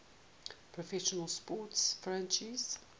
professional sports franchise